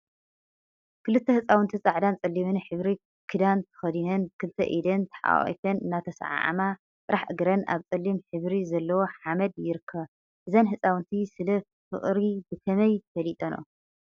ክልተ ህፃውንቲ ፃዕዳን ፀሊምን ሕብሪ ክዳን ተከዲነን ብክልተ ኢደን ተሓቋቍፈን እናተሰዓዓማ ጥራሕ እግረን አብ ፀሊም ሕብሪ ዘለዎ ሓመድ ይረከባ፡፡ እዘን ህፃውንቲ ሰለ ፍቅረ ብከመይ ፈሊጠንኦ?